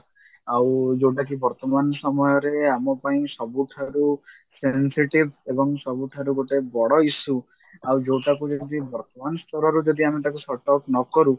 ଆଉ ଯଉଟାକି ବର୍ତମାନ ସମୟରେ ଆମ ପାଇଁ ସବୁଠାରୁ sensitive ଏବଂ ସବୁଠାରୁ ଗୋଟେ ବଡ issue ଆଉ ଯଉଟା କୁ ଯଦି ବର୍ତମାନ ସ୍ତରରେ ଆମେ ଯଦି ତାକୁ shot out ନକରୁ